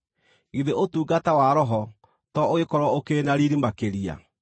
githĩ ũtungata wa Roho to ũgĩkorwo ũkĩrĩ na riiri makĩria?